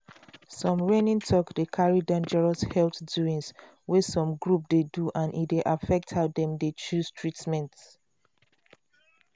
some reigning talk dey carry dangerous health doings wey some group dey do and e dey affect how dem dey choose treatment.